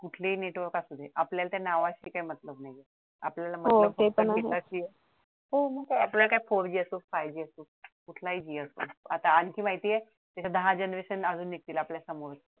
कुठलेही नेटवर्क असुदे आपल्याला आत्या नावाशी काय नाही हो आपल्याला काय फोर असो five G असो कुठलाही G असो आता आणखी माहितीये आता तर दहा generation निघतील आपल्या समोर